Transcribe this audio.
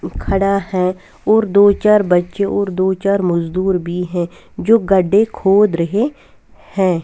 खड़ा है और दो चार बच्चे और दो चार मजदूर भी है जो गढ्ढे खोद रहे हैं।